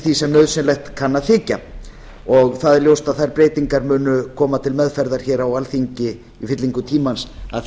því sem nauðsynlegt kann að þykja það er ljóst að þær breytingar munu koma til meðferðar hér á alþingi í fyllingu tímans að því